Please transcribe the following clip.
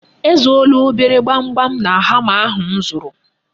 E zuola obere gbamgbam na hama ahụ m zụrụ.